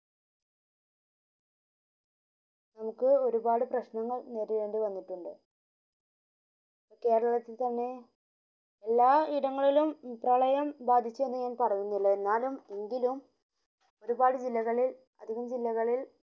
നമുക് ഒരുപാട് പ്രശനങ്ങൾ നേരിടേണ്ടി വന്നിട്ടുണ്ട് കേരളത്തിൽ തന്നെ എല്ലാ ഇടങ്ങളിലും പ്രളയം ബാധിച്ചു എന്ന ഞാൻ പറയുന്നില്ല എന്നാലും എങ്കിലും ഒരുപ്പാട് ജില്ലകളിൽ അതികം ജില്ലകളിൽ നമുക് ഒരുപാട് പ്രശ്നങ്ങൾ നേരിടേണ്ടി വന്നിട്ടുണ്ട്